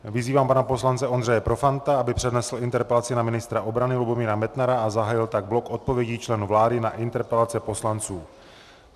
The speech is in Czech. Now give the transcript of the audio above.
Vyzývám pana poslance Ondřeje Profanta, aby přednesl interpelaci na ministra obrany Lubomíra Metnara a zahájil tak blok odpovědí členů vlády na interpelace poslanců.